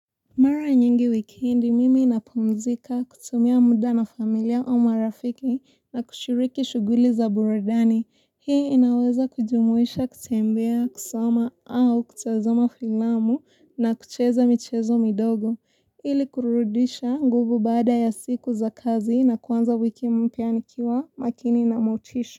Mara nyingi wikendi mimi ninapumzika kutumia muda na familia au marafiki na kushiriki shughuli za buradani. Hii inaweza kujumuisha kutembea, kusoma au kutazama filamu na kucheza michezo midogo. Ili kurudisha nguvu baada ya siku za kazi na kuanza wiki mpya nikiwa makini na motisha.